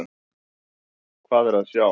Hvað er að sjá!